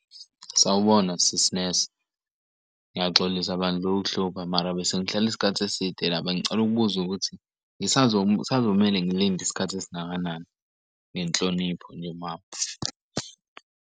Sawubona sisi nesi ngiyaxolisa bandla ukukuhlupha mara bese ngihlale isikhathi eside la bengicela ukubuza ukuthi, kusazomele ngilinde isikhathi esingakanani? Ngenhlonipho nje mama.